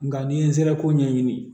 Nga n'i ye nsɛrɛ ko ɲɛɲini